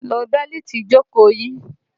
Lo bẹ́lìtì ìjókòó yín!